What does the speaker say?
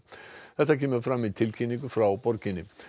þetta kemur fram í tilkynningu frá borginni